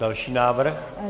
Další návrh.